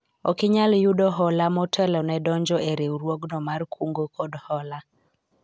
ok inyal yudo hola motelo ne donjo e riwruogno mar kungo kod hola